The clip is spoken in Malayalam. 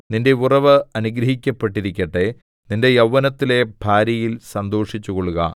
നിന്റെ ഉറവ് അനുഗ്രഹിക്കപ്പെട്ടിരിക്കട്ടെ നിന്റെ യൗവനത്തിലെ ഭാര്യയിൽ സന്തോഷിച്ചുകൊള്ളുക